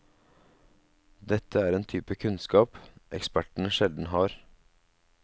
Dette er en type kunnskap ekspertene sjelden har.